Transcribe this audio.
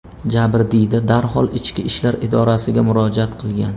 Jabrdiyda darhol ichki ishlar idorasiga murojaat qilgan.